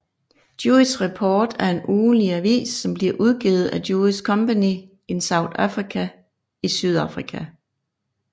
Jewish Report er en ugenlig avis som bliver udgivet af Jewish community in South Africa i Sydafrika